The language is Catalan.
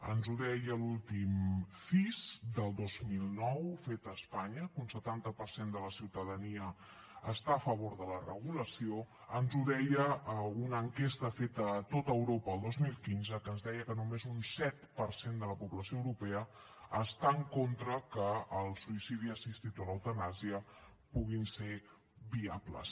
ens ho deia l’últim cis del dos mil nou fet a espanya que un setanta per cent de la ciutadania està a favor de la regulació ens ho deia una enquesta feta a tot europa el dos mil quinze que ens deia que només un set per cent de la població europea està en contra que el suïcidi assistit o l’eutanàsia puguin ser viables